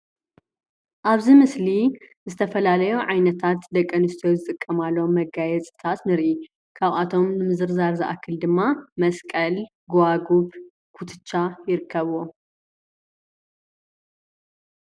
ኣብዚ ምስሊ ዝተፈላለዩ ዓይነታት ደቂ ኣንስትዮ ዝጥቀማሎም መጋየፂታት ንሪኢ ።ካባቶም ንምዝርዛር ዝኣክል ድማ መስቀል፣ ጎባጉብ፣ ኩትሻ ይርከብዎም።